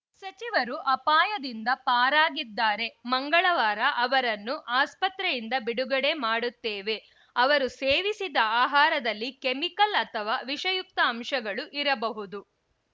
ಸಚಿವರು ಅಪಾಯದಿಂದ ಪಾರಾಗಿದ್ದಾರೆ ಮಂಗಳವಾರ ಅವರನ್ನು ಆಸ್ಪತ್ರೆಯಿಂದ ಬಿಡುಗಡೆ ಮಾಡುತ್ತೇವೆ ಅವರು ಸೇವಿಸಿದ ಆಹಾರದಲ್ಲಿ ಕೆಮಿಕಲ್‌ ಅಥವಾ ವಿಷಯುಕ್ತ ಅಂಶಗಳು ಇರಬಹುದು